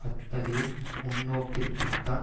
அத்தகைய முன்னோக்கிற்குத்தான்